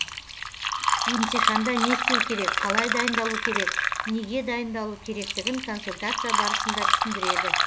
емтиханда не істеу керек қалай дайындалу керек неге дайындалу керектігін консультация барысында түсіндіреді